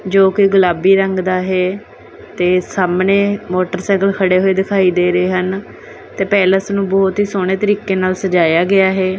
ਜੋਕੀ ਗੁਲਾਬੀ ਰੰਗ ਦਾ ਹੈ ਤੇ ਸਾਹਮਣੇ ਮੋਟਰਸਾਈਕਲ ਖੜ੍ਹੇ ਹੋਏ ਦਿਖਾਈ ਦੇ ਰਹੇ ਹਨ ਤੇ ਪੈਲੇਸ ਨੂੰ ਬਹੁਤ ਹੀ ਸੋਹਣੇ ਤਰੀਕੇ ਨਾਲ ਸਜਾਇਆ ਗਿਆ ਹੈ।